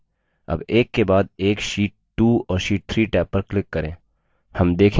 tab एक के बाद एक sheet 2 और sheet 3 टैब पर click करें